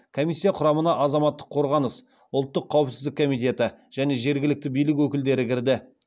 комиссия құрамына азаматтық қорғаныс ұлттық қауіпсіздік комитеті және жергілікті билік өкілдері кірді